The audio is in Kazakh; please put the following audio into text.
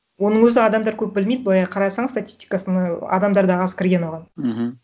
оның өзі адамдар көп білмейді былай қарасаң статистикасына адамдар да аз кірген оған мхм